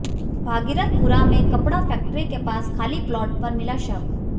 भागीरथपुरा में कपड़ा फैक्टरी के पास खाली प्लॉट पर मिला शव